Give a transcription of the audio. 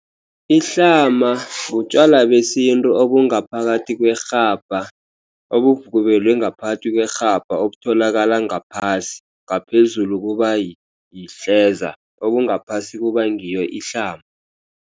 Ihlama butjwala besintu obungaphakathi kwerhabha. Obovubelwe ngaphathi kwerhabha. Obutholakala ngaphasi, ngaphezulu kubayihleza obungaphasi kuba ngiyo ihlama.